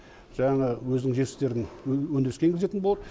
жаңағы өзінің жетістіктерін өндіріске енгізетін болады